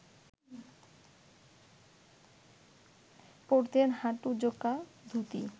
পরতেন হাঁটু-জোকা ধুতি